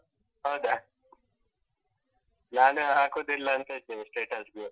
ಹೌದಾ, ನಾನು ಹಾಕುದಿಲ್ಲ ಅಂತ ಇದ್ದೆ status ಗೆ.